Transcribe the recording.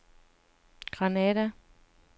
Granada